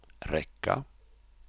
räcka